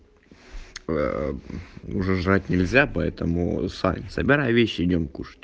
уже жрать нельзя поэтому собирай вещи и идём